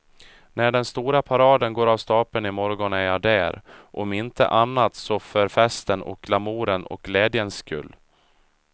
När den stora paraden går av stapeln i morgon är jag där, om inte annat så för festens och glamourens och glädjens skull.